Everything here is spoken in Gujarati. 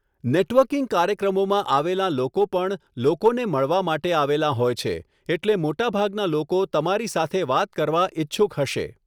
નેટવર્કિંગ કાર્યક્રમોમાં આવેલાં લોકો પણ લોકોને મળવા માટે આવેલાં હોય છે, એટલે મોટાભાગના લોકો તમારી સાથે વાત કરવા ઇચ્છુક હશે.